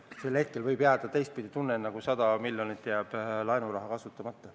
Sel hetkel võib jääda teistpidi tunne, nagu 100 miljonit laenuraha jääks kasutamata.